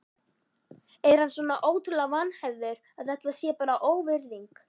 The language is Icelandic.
Er hann svona ótrúlega vanhæfur að þetta sé bara óvirðing?